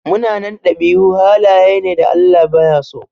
Munanan ɗabi'u halaye ne da Allah baya so.